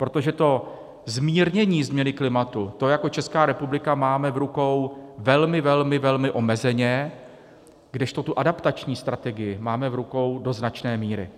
Protože to zmírnění změny klimatu, to jako Česká republika máme v rukou velmi, velmi, velmi omezeně, kdežto tu adaptační strategii máme v rukou do značné míry.